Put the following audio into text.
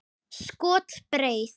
Skot: Breið.